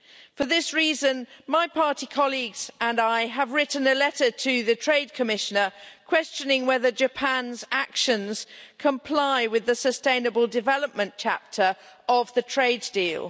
For this reason, my party colleagues and I have written a letter to the Commissioner for Trade questioning whether Japan's actions comply with the sustainable development chapter of the trade deal.